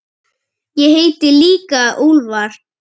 Ég heiti líka Úlfar.